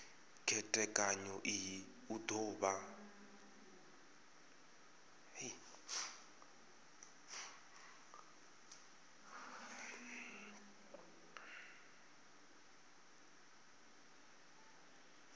khethekanyo iyi u do vha